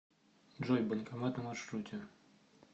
джой банкомат на маршруте